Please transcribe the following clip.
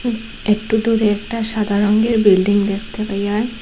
একটু দূরে একটা সাদা রঙের বিল্ডিং দেখতে পাই আর।